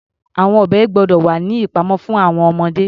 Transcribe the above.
Àwọn ọ̀bẹ gbọ́dọ̀ wà ní ìpamọ́ fún àwọn ọmọdé.